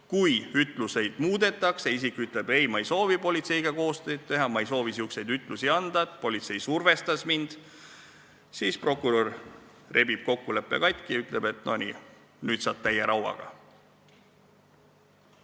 Kui ütluseid muudetakse, näiteks isik ütleb, ei ta ei soovi politseiga koostööd teha, ta ei soovi selliseid ütlusi anda, politsei survestas teda, siis prokurör rebib kokkuleppe katki ja ütleb: "No nii, nüüd saad täie rauaga.